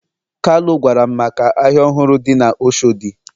kalu gwaram maka ahia ohuru di na oshodi.